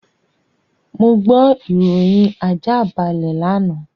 Mo gbọ́ ìròyìn àjáàbalẹ̀ lánàá.